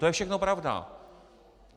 To je všechno pravda.